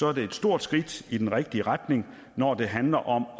er det et stort skridt i den rigtige retning når det handler om